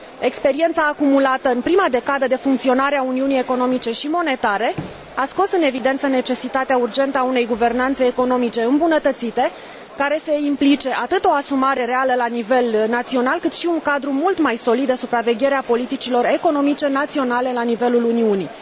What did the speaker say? Experiența acumulată în prima decadă de funcționare a Uniunii Economice și Monetare a scos în evidență necesitatea urgentă a unei guvernanțe economice îmbunătățite, care să implice atât o asumare reală la nivel național, cât și un cadru mult mai solid de supraveghere a politicilor economice, naționale la nivelul Uniunii.